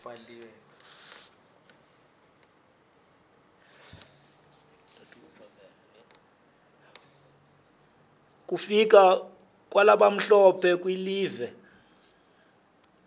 kufika kwalabamhlophe kulive